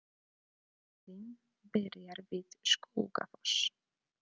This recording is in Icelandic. Leiðin byrjar við Skógafoss.